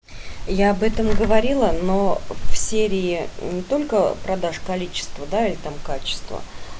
я об этом говорила но в серии не только продаж количество да и там качество